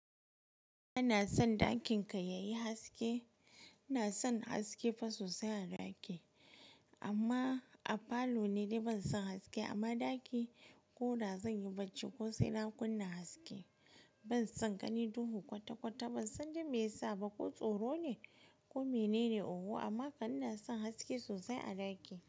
Ina son ɗakin ka ya yi haske. Ina son haske fa sosai a ɗaki. Amma a falo ne dai ban son haske amma ɗaki ko da zan yi bacci ko sai na kunna haske. Ban son gani duhu kwata-kwata. Ban san me yasa ba ko tsoro ne ko mene ne oho amma ƙan ina son haske sosai a ɗaki.